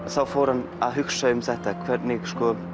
þá fór hann að hugsa um þetta hvernig